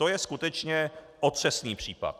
To je skutečně otřesný případ.